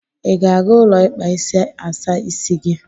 I ga-aga ụlọ ikpa isi asa isi gị?